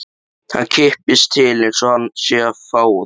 Hann kippist til einsog hann sé að fá það.